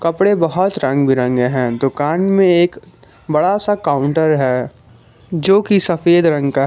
कपड़े बहोत रंग बिरंगे है दुकान में एक बड़ा सा काउंटर है जोकि सफेद रंग का है।